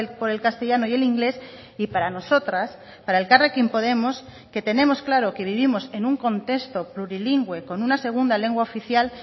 por el castellano y el inglés y para nosotras para elkarrekin podemos que tenemos claro que vivimos en un contexto plurilingüe con una segunda lengua oficial